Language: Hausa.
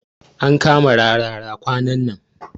An kama Rarara kwanan nan.